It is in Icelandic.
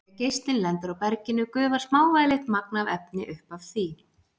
Þegar geislinn lendir á berginu gufar smávægilegt magn af efni upp af því.